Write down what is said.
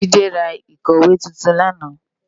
Jide rá ikòwé tútún làná